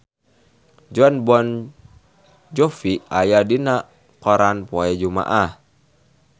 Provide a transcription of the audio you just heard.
Jon Bon Jovi aya dina koran poe Jumaah